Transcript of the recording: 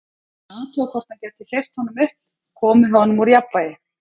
Hann var að athuga, hvort hann gæti hleypt honum upp, komið honum úr jafnvægi.